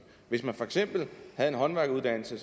hvis man for eksempel havde en håndværkeruddannelse